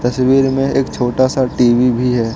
तस्वीर में एक छोटा सा टी_वी भी है।